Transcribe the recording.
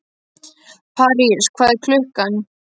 París, hvað er klukkan?